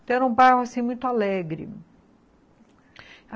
Então, era um bairro assim muito alegre.